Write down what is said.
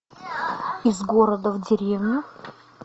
из города в деревню